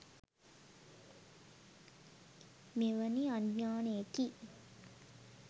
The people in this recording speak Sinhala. මෙවැනි අඥානයෙකි.